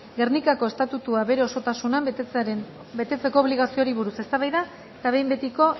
gernikako estatutua bere osotasunean betetzeko obligazioari buruz eztabaida eta behin betiko